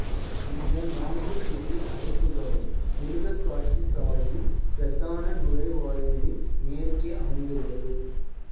இந்த நான்கு புதிய அடைப்புகளும் மிருகக்காட்சிசாலையின் பிரதான நுழைவாயிலின் மேற்கே அமைந்துள்ளது